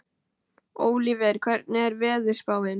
Ólíver, hvernig er veðurspáin?